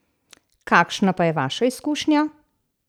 Kakšna pa je vaša izkušnja?